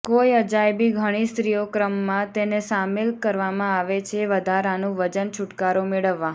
કોઈ અજાયબી ઘણી સ્ત્રીઓ ક્રમમાં તેને સામેલ કરવામાં આવે છે વધારાનું વજન છુટકારો મેળવવા